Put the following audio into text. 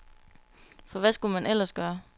For hvad skulle man ellers gøre.